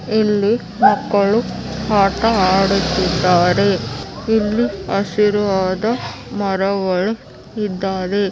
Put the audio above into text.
ಇಲ್ಲಿ ಮಕ್ಕಳು ಆಟ ಆಡುತ್ತಿದ್ದಾರೆ ಇಲ್ಲಿ ಹಸಿರು ಆದ ಮರಗಳು ಇದ್ದಾವೆ .